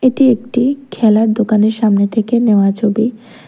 এটি একটি খেলার দোকানের সামনে থেকে নেওয়া ছবি।